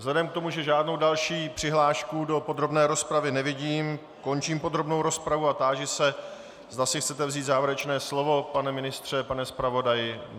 Vzhledem k tomu, že žádnou další přihlášku do podrobné rozpravy nevidím, končím podrobnou rozpravu a táži se, zda si chcete vzít závěrečné slovo - pane ministře, pane zpravodaji?